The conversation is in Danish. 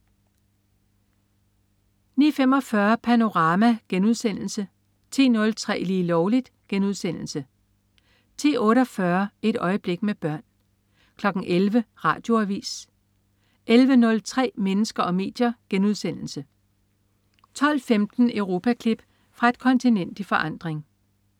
09.45 Panorama* 10.03 Lige Lovligt* 10.48 Et øjeblik med børn 11.00 Radioavis 11.03 Mennesker og medier* 12.15 Europaklip. Fra et kontinent i forandring